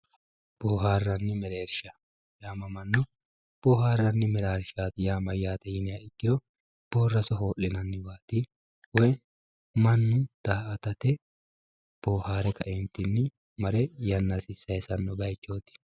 booharanni mereershsha mannu booharanni mereershsha yaa mayyate yinha ikkiro boorraso hoo'linanniwaati woy mannu daa'atate boohare kaeentinni mare yannasi saysanno baychooti